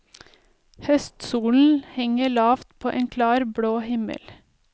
Høstsolen henger lavt på en klar, blå himmel.